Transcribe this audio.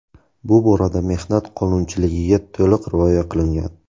Bu borada mehnat qonunchiligiga to‘liq rioya qilingan.